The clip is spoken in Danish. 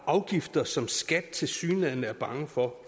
afgifter som skat tilsyneladende er bange for